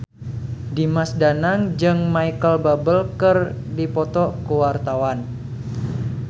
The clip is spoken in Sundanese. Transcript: Dimas Danang jeung Micheal Bubble keur dipoto ku wartawan